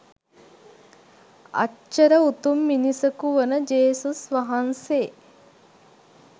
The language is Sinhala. අච්චර උතුම් මිනිසකු වන ජේසුස් වහන්සේ